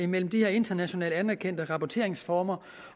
mellem de internationalt anerkendte rapporteringsformer